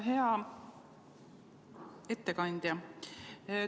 Hea ettekandja!